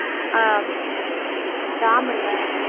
ஆஹ் ராம் இல்ல